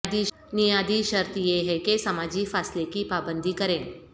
نیادی شرط یہ ہے کہ سماجی فاصلے کی پابندی کریں